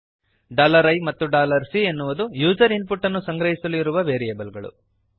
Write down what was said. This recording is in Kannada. i ಮತ್ತು C ಅನ್ನುವುದು ಯೂಸರ್ ಇನ್ ಪುಟ್ ಅನ್ನು ಸಂಗ್ರಹಿಸಲು ಇರುವ ವೇರಿಯೇಬಲ್ಸ್